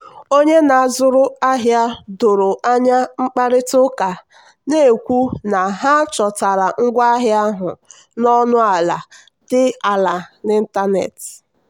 onye na-azụrụ ahịa doro anya kparịta ụka na-ekwu na ha chọtara ngwaahịa ahụ na ọnụ ala dị ala n'ịntanetị.